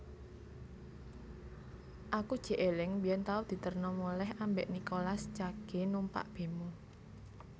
Aku jek eling biyen tau diterno moleh ambek Nicolas Cage numpak bemo